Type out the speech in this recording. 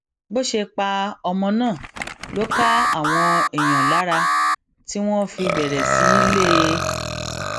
bó ṣe pa ọmọ náà ló ká àwọn èèyàn lára tí wọn fi bẹrẹ sí í lé e